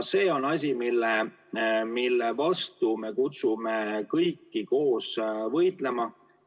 See on asi, mille vastu me kutsume kõiki koos võitlema.